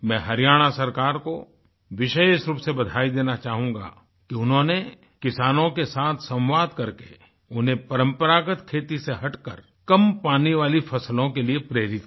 मैं हरियाणा सरकार को विशेष रूप से बधाई देना चाहूंगा कि उन्होंने किसानों के साथ संवाद करके उन्हें परम्परागत खेती से हटकर कम पानी वाली फसलों के लिए प्रेरित किया